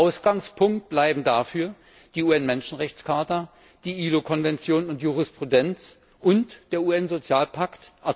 Ausgangspunkt bleiben dafür die UN Menschenrechtscharta, die ILO Konventionen und Jurisprudenz und der UN Sozialpakt.